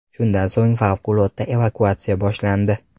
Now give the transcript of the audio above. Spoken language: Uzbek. Shundan so‘ng favqulodda evakuatsiya boshlandi.